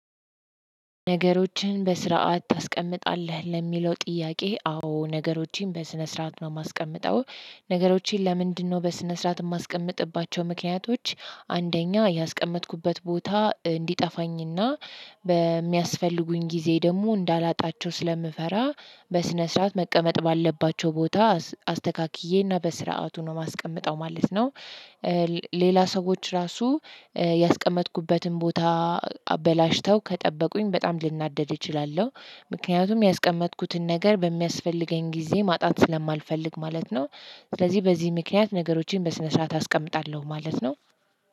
ነገሮችን በስርዓት ታስቀምጣለህ ለሚለው ጥያቄ? አዎ ነገሮችን በስነ ስርዓት ነው የማስቀምጠው። ነገሮችን ለምንድነው በስነ ስርዓት የማስቀምጥባቸው ምክንያቶች? አንደኛ ያስቀመጥኩበት ቦታ እንዲጠፋኝና በሚያስፈልጉኝ ጊዜ ደግሞ እንዳላጣቸው ስለምፈራ በስነ ስርዓት መቀመጥ ባለባቸው ቦታ አስተካክዬ እና በስርዓቱ ነው የማስቀምጠው ማለት ነው። ሌላ ሰዎች ራሱ ያስቀመጥኩበትን ቦታ አበላሽተው ከጠበቁኝ በጣም ልናደድ እችላለሁ። ምክንያቱም ያስቀመጥኩትን ነገር በሚያስፈልገኝ ጊዜ ማጣት ስለማልፈልግ ማለት ነው። ስለዚህ በዚህ ምክንያት ነገሮችን በስነ ስርዓት አስቀምጣለሁ ማለት ነው።